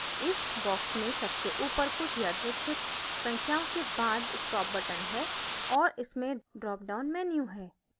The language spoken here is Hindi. इस box में सबसे ऊपर कुछ यादृच्छिक संख्याओं के बाद stop button है और इसमें drop down menu है